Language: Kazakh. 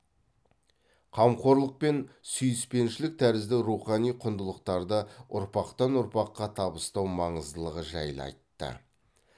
қамқорлық пен сүйіспеншілік тәрізді рухани құндылықтарды ұрпақтан ұрпаққа табыстау маңыздылығы жайлы айтты